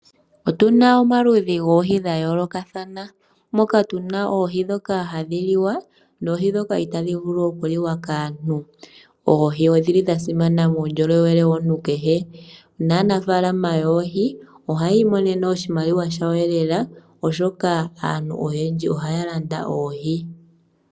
Otuna omaludhi goohi dha yoolokathana moka tuna oohi dhoka hadhi liwa nooii dhoka itadhi vulu okuliwa kaantu oohi odhili dha simana muundjolowele womuntu kehe nanafaalama ohaaya imonene oshimaliwa shawo lela oshoka aantu oyendji ohaa Landa oohi.